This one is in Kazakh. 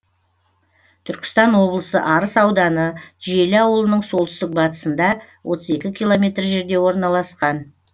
түркістан облысы арыс ауданы жиделі ауылының солтүстік батысында отыз екі километр жерде орналасқан